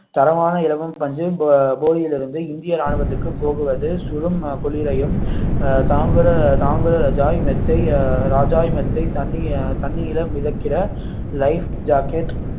தரமான இலவம் பஞ்சு போ~ போடியில் இருந்து இந்திய ராணுவத்திற்கு போவது சுடும் குளிரையும் தாங்குற தாங்குகிற ஜாய் மெத்தை அஹ் ராஜாய் மெத்தை தண்ணி தண்ணீரில் மிதக்கிற life jacket